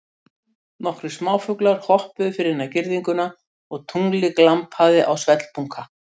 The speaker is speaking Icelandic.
Nokkrir smáfuglar hoppuðu fyrir innan girðinguna og tunglið glampaði á svellbunka.